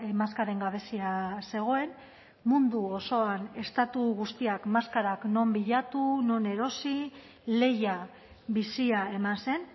maskaren gabezia zegoen mundu osoan estatu guztiak maskarak non bilatu non erosi lehia bizia eman zen